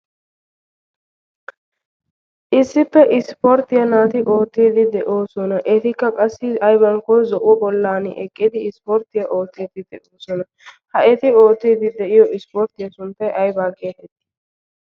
issippe ispporttiyaa naati oottiidi de'oosona. etikka qassi aybankkon zo'uwo gollan eqqidi ispporttiyaa oottiidi de'oosona. ha eti ootiidi de'iyo ispporttiyaa sunttay aybaan keehee?